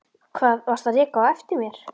Hvað varstu að reka á eftir mér?